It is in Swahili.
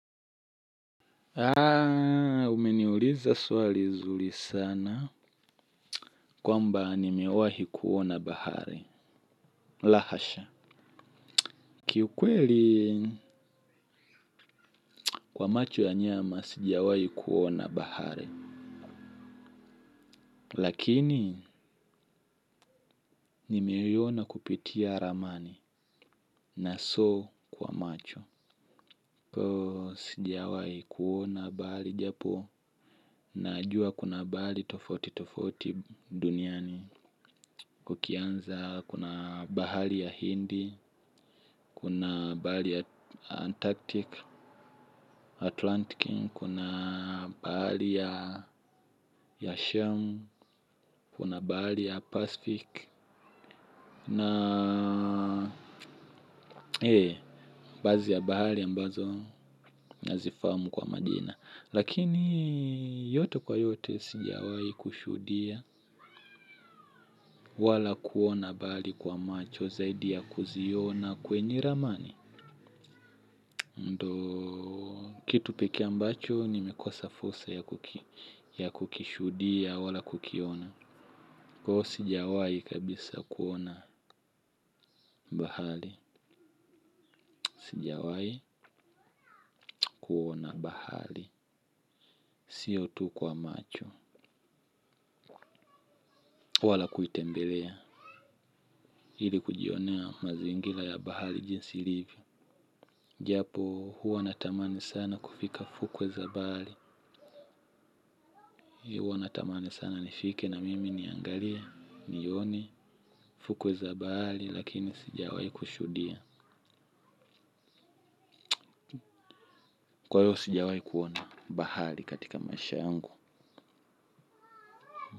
Haa, umeniuliza swali nzuri sana kwamba nimewahi kuona bahari. Lahasha. Kiukweli kwa macho ya nyama, sijawahi kuona bahari. Lakini, nimeiona kupitia ramani na so kwa macho. Sijawahi kuona bahari japo, najua kuna bahari tofauti tofauti duniani. Kukianza, kuna bahari ya Hindi, kuna bahari ya Antarctic, Atlantic, kuna bahari ya Shem, kuna bahari ya Pacific. Na, ee, baadhi ya bahari ambazo nazifahamu kwa majina. Lakini, yote kwa yote sijawahi kushuhudia, wala kuona bahari kwa macho, zaidi ya kuziona kwenye ramani. Ndiyo kitu pekee ambacho nimekosa fursa ya kukishudia wala kukiona. Kwa hivyo sijawahi kabisa kuona bahari. Sijawahi na bahari. Siyo tu kwa macho. Wala kuitembelea ili kujionea mazingira ya bahari jinsi ilivyo. Japo huwa natamani sana kufika fukwe za bahari. Huwa natamani sana nifike na mimi niangalia nione fukwe zabali lakini sijawahi kushuhudia. Kwa hivyo sijawahi kuona bahari katika maisha yangu.